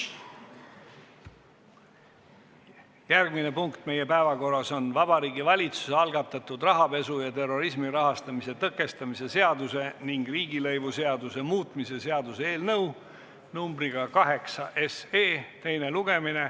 Järgmine punkt meie päevakorras on Vabariigi Valitsuse algatatud rahapesu ja terrorismi rahastamise tõkestamise seaduse ning riigilõivuseaduse muutmise seaduse eelnõu 8 teine lugemine.